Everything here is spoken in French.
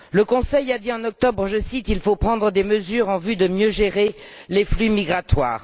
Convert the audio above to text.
Le Conseil a dit en octobre, je cite Il faut prendre des mesures en vue de mieux gérer les flux migratoires.